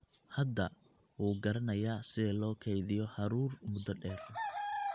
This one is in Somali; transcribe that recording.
Hadda wuu garanayaa sida loo kaydiyo hadhuudh muddo dheer.